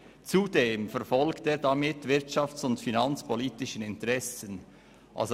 Zudem verfolgt er damit wirtschafts- und finanzpolitische Interessen.»